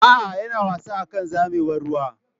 A'a, yana wasa akan zamewar ruwa.